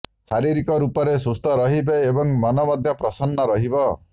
ଶାରୀରିକ ରୂପରେ ସୁସ୍ଥ ରହିବେ ଏବଂ ମନ ମଧ୍ୟ ପ୍ରସନ୍ନ ରହିବ